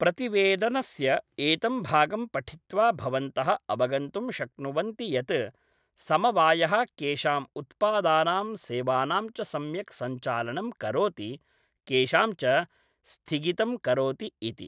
प्रतिवेदनस्य एतं भागं पठित्वा भवन्तः अवगन्तुं शक्नुवन्ति यत् समवायः केषाम् उत्पादानां सेवानां च सम्यक् संचालनं करोति केषां च स्थिगितं करोति इति।